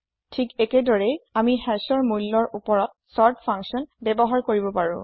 ঠিক একেদৰেই আমি hashৰ মূল্যৰ ওপৰত চৰ্ত্ ফাঙ্কচ্যন ব্যৱহাৰ কৰিব পাৰো